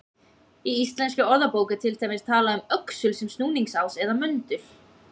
Í Íslenskri orðabók er til dæmis talað um öxul sem snúningsás eða möndul.